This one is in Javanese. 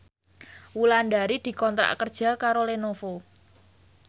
Wulandari dikontrak kerja karo Lenovo